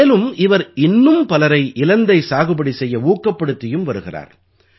மேலும் இவர் இன்னும் பலரை இலந்தை சாகுபடி செய்ய ஊக்கப்படுத்தியும் வருகிறார்